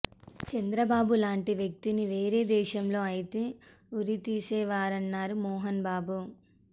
చంద్రబాబు లాంటి వ్యక్తిని వేరే దేశంలో అయితే ఉరి తీసేవారన్నారు మోహన్ బాబు